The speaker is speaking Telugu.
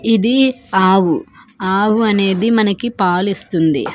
ఇది ఆవు ఆవు అనేది మనకిపాలిస్తుంది.